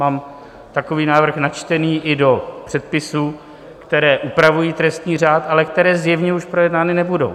Mám takový návrh načtený i do předpisů, které upravují trestní řád, ale které zjevně už projednány nebudou.